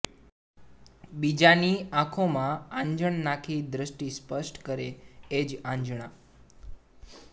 બીજાની આંખોમાં આંજણ નાખી દૃષ્ટી સ્પષ્ટ કરે એ જ આંજણા